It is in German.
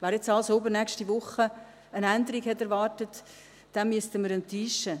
Wer nun also übernächste Woche eine Änderung erwartet hat, den müssen wir enttäuschen.